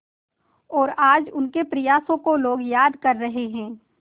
और आज उनके प्रयासों को लोग याद कर रहे हैं